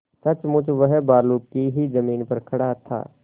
सचमुच वह बालू की ही जमीन पर खड़ा था